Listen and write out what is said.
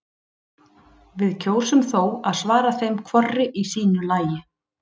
Við kjósum þó að svara þeim hvorri í sínu lagi.